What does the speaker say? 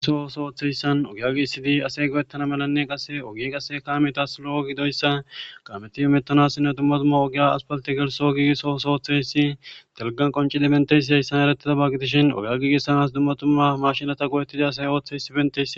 gelso sooththeyssan ogyagi isidi asey go7ettana malanne qasse ogie qasse kaametas lo7o gidoyssa kaameti imettanassinne dumma tumma ogiya aspalte gelso giigisso sooththeyssi telgan qoncidi benteysi heyssan eretida baggitishin ogya giigissanas dummatumma mashinata go7ettida asay ooththeysi bentes